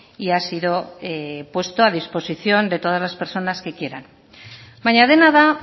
y ha sido puesto a disposición de todas las personas que quieran baina dena da